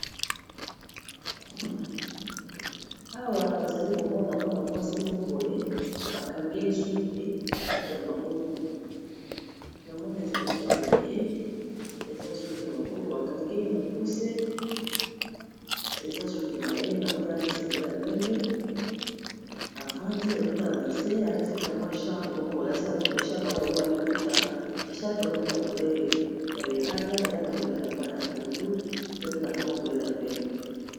Awa nazali komona mwana mwasi moko boye bakangski ya maboko na mone ezali suki na ye eza suki ya maboko ba kangi ye mokuse eza suki na ye na monela tiseingla ya pembe ,avandi azotala na se alati kamwi echar mpe moko boye lati lecharl mpe yango lokwa aliputa lesharl mpe yango eza na coulere ya lelala, eza na coulere ya ma ya pondu ,eza pena kamwa culere ya pembe.